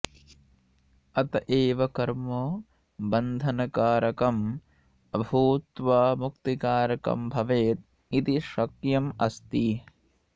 अत एव कर्म बन्धनकारकम् अभूत्वा मुक्तिकारकं भवेद् इति शक्यम् अस्ति